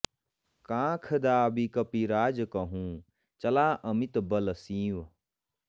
काँख दाबि कपिराज कहुँ चला अमित बल सींव